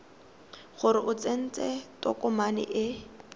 gore o tsentse tokomane e